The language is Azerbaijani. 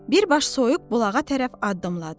Birbaş soyuq bulağa tərəf addımladı.